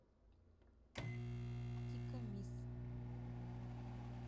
тикамис